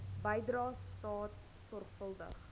bydrae staat sorgvuldig